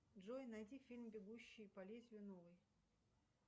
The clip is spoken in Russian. джой найди фильм бегущий по лезвию новый